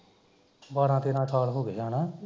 ਬਾਰਾਂ ਤੇਰਾ ਸਾਲ ਹੋਗੇ ਹੈਨਾ